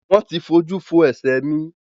Wọ́n ti fojú fo ẹ̀ṣẹ̀ mi.